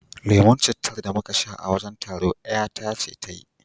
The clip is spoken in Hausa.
Lemon cittar da muka sha a wajen taro ƴata ce ta yi